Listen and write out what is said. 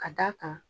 Ka d'a kan